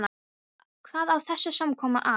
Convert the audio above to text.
Hvað á þessi samkoma að þýða.